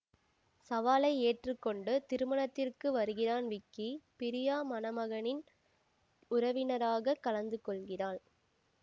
சவாலை ஏற்று கொண்டு திருமணத்திற்கு வருகிறான் விக்கி பிரியா மணமகனின் உறவினராக கலந்துகொள்கிறாள்